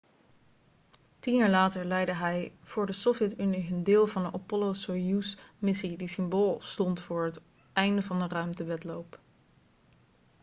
tien jaar later leidde hij voor de sovjet-unie hun deel van de apollo-soyuz-missie die symbool stond voor het einde van de ruimtewedloop